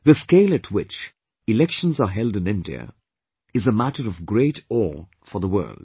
The scale at which elections are held in India is a matter of great awe for the World